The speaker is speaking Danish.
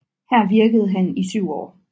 Her virkede han i 7 år